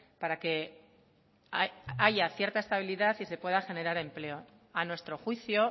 para que haya cierta estabilidad y se pueda generar empleo a nuestro juicio